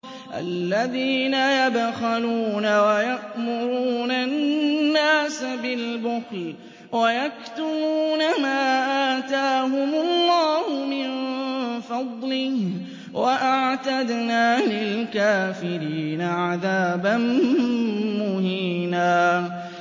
الَّذِينَ يَبْخَلُونَ وَيَأْمُرُونَ النَّاسَ بِالْبُخْلِ وَيَكْتُمُونَ مَا آتَاهُمُ اللَّهُ مِن فَضْلِهِ ۗ وَأَعْتَدْنَا لِلْكَافِرِينَ عَذَابًا مُّهِينًا